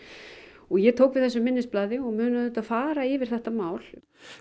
og ég tók við þessu minnisblaði og mun auðvitað fara yfir þetta mál